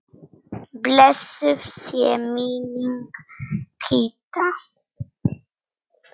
Blessuð sé minning Kidda.